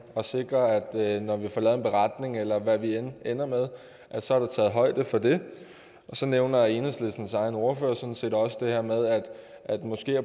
og sikre at når vi får lavet en beretning eller hvad vi end ender med så er der taget højde for det så nævner enhedslistens egen ordfører sådan set også det her med at